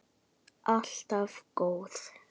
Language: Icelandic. Alltaf góð.